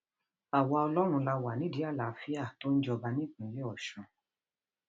àwa ọlọrun la wà nídìí nídìí àlàáfíà tó ń jọba nípínlẹ ọsùn